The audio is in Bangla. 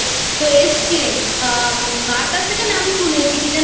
তো এসেছিলেন মার কাছ থেকে নামশুনেছি কী যেন